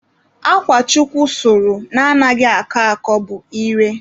Akwa Chukwu sụrụ na-anaghị akọ akọ bụ ire.